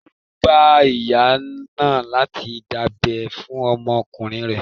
Ẹrú ń ba ìyá náà láti dábẹ́ fún ọmọkùnrin rẹ̀.